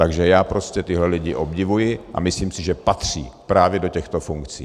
Takže já prostě tyhle lidi obdivuji a myslím si, že patří právě do těchto funkcí.